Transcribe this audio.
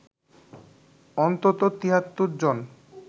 অন্তত ৭৩ জন